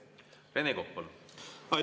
Rene Kokk, palun!